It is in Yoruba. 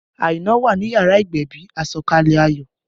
Aina wà ní yàrá ìgbẹ̀bì, àsọ̀kalẹ̀ ayọ̀